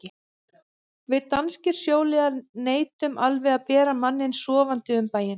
Við danskir sjóliðar neitum alveg að bera manninn sofandi um bæinn.